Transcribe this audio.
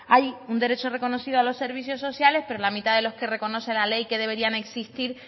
hay un derecho reconocido a los servicios sociales pero la mitad de los que reconoce la ley que deberían de existir